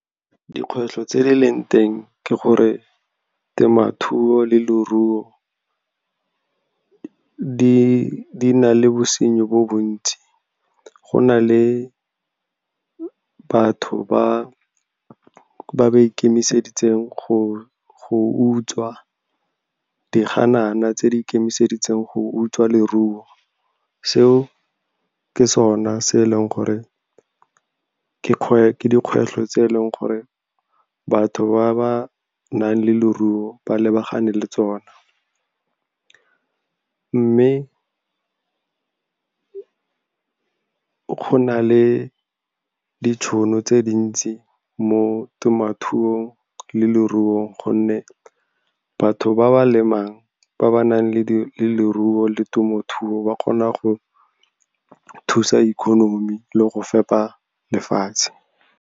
Dikgwetlho tse di leng teng ke gore temothuo le leruo di na le bosenyi bo bontsi. Go na le batho ba ba ikemiseditseng go utswa diganana, tse di ikemiseditseng go utswa leruo. Seo ke sona se e leng gore ke dikgwetlho tse e leng gore batho ba ba nang le leruo ba lebagane le tsona. Mme go na le ditšhono tse dintsi mo temothuong le leruong, gonne batho ba ba lemang, ba ba nang le leruo le temothuo, ba kgona go thusa economy le go fepa lefatshe.